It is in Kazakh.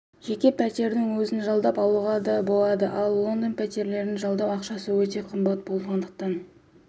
жеке пәтердің өзін жалдап алуға болады ал лондонда пәтерлердің жалдау ақысы өте қымбат болғандықтан